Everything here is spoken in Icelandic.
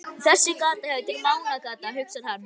Þessi gata heitir Mánagata, hugsar hann.